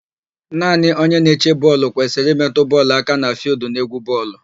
Naanị onye na-eche bọọlụ kwesịrị ịmetụ bọọlụ aka na fịịldụ n'égwú bọọlụ.